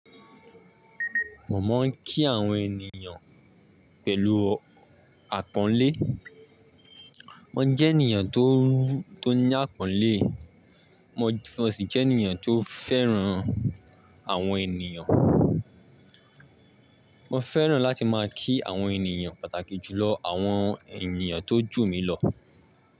Mo máa ń kí àwọn ènìyàn pẹ̀lú àpọ́nlé. Mo jẹ́ ènìyàn tó ní àpọ́nlé, mo sì jẹ́ ènìyàn tó fẹ́ràn àwọn ènìyàn. Mo fẹ́ràn láti máa kí àwọn ènìyàn, pàtàkì jùlọ àwọn ènìyàn tó jù mí lọ.